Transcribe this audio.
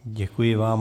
Děkuji vám.